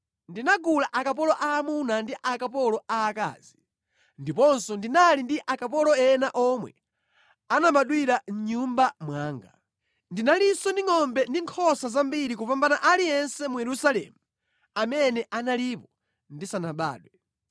Ndinagula akapolo aamuna ndi akapolo aakazi, ndiponso ndinali ndi akapolo ena omwe anabadwira mʼnyumba mwanga. Ndinalinso ndi ngʼombe ndi nkhosa zambiri kupambana aliyense mu Yerusalemu amene analipo ndisanabadwe.